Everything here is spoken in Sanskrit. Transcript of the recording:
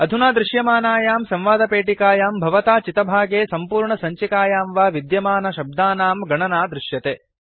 अधुना दृश्यमानायां संवादपेटिकायां भवता चितभागे सम्पूर्णसञ्चिकायां वा विद्यमानशब्दानां गणना दृश्यते